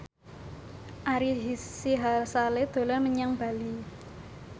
Ari Sihasale dolan menyang Bali